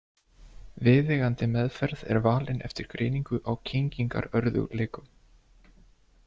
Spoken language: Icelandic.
Viðeigandi meðferð er valin eftir greiningu á kyngingarörðugleikum.